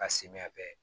Ka sen bɛ